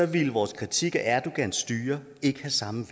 ville vores kritik af erdogans styre ikke have samme